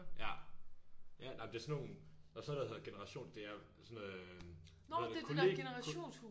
Ja ja nej det er sådan nogle der er sådan noget der hedder generation det er sådan øh noget hvad hedder det kollegie